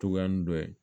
Togoya nin dɔ ye